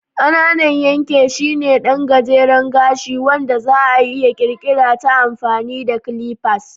Ƙananan yanke shine ɗan gajeren gashi wanda za'a iya ƙirƙirar ta amfani da clippers.